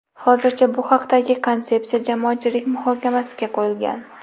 Hozircha bu haqdagi konsepsiya jamoatchilik muhokamasiga qo‘yilgan.